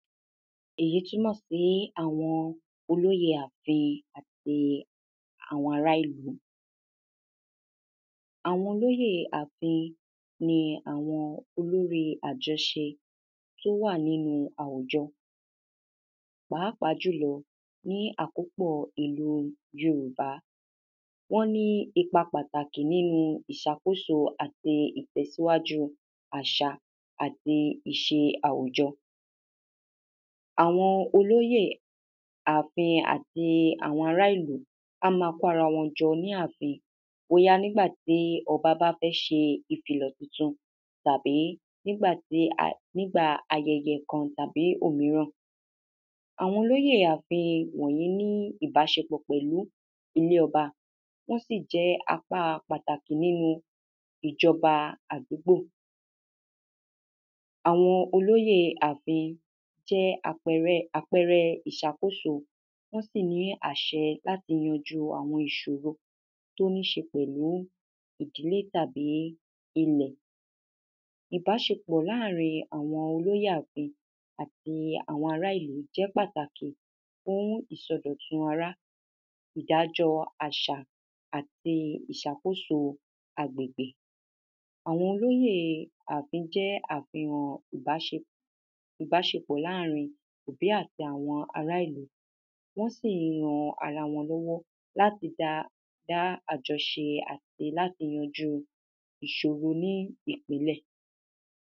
èyí túmọ̀ sí àwọn olóye àfin àti àwọn ará-ìlú. àwọn olóyèe àfin ni àwọn loríi àjọṣe tó wà nínu àwùjọ, pàápàá jùlọ ní àkópọ̀ọ ìlúu yorùbá. wọ́n ní ipa pàtàkì nínu ìṣàkóso àti ìtẹ̀síwáju àṣà àti ìṣe àwùjọ. àwọn olóyè àfin àti àwọn ará-ìlú á ma kó ara wọn jọ ní àfin bóyá nígbàtí ọbá bá fẹ́ ṣe ìkìlọ̀ titun, tàbí nígbàtí a, nígbà ayẹyẹ kan tàbí òmíràn. àwọn olóyè àfin wọ̀nyí ní ìbáṣepọ̀ pẹ̀lú ilé-ọba, wọ́n sì jẹ́ apáa pàtàkì nínu ìjọba àdúgbò. àwọn olóyèe àfin jẹ́ àpẹrẹ, àpẹrẹ ìṣàkóso, wọ́n sì ní àṣẹ láti yanjúu àwọn ìṣòro tó ní ṣe pẹ̀lú ìdílé àbí ilẹ̀. ìbáṣepọ̀ láàrin àwọn olóyè àfin àti àwọn ará-ìlú jẹ́ pátàkì fún ìsọdọ̀tun ará, ìdájọ́ọ àṣà àti ìṣàkóso àgbègbè. àwọn olóyèe àfín jẹ́ àfihàn ìbáṣe, ìbáṣepọ̀ láàrin òbí àti àwọn ará-ìlú. wọ́n sì ń ran ara wọn lọ́wọ́ láti da, dá àjọṣe àti láti yanjúu ìṣòro oní ìpìnlẹ̀.